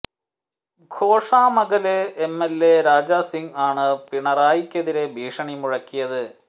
Goshamahal MLA Raja Singh ആണ് പിണറായിക്കെതിരെ ഭീഷണി മുഴക്കിയത്